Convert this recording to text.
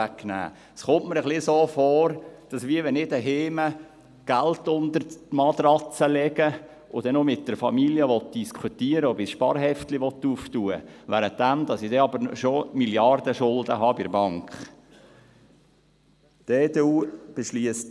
Es kommt mir ein bisschen so vor, als wenn ich zu Hause Geld unter die Matratze legte und dann noch mit der Familie diskutieren wollte, ob ich ein Sparheft eröffnen will, nachdem ich bereits Milliardenschulden bei der Bank habe.